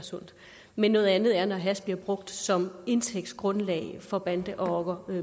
sundt men noget andet er når hash bliver brugt som indtægtsgrundlag for bande rocker